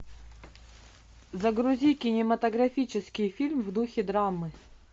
загрузи кинематографический фильм в духе драмы